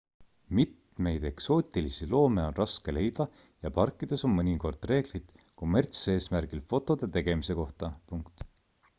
mitmeid eksootilisi loome on raske leida ja parkides on mõnikord reeglid kommertseesmärgil fotode tegemise kohta